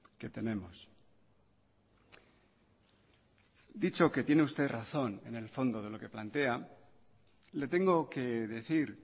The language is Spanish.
que tenemos dicho que tiene usted razón en el fondo de lo que plantea le tengo que decir